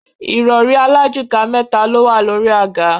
Ìrọ̀rí alájùká mẹ́ta lówà lórí àga.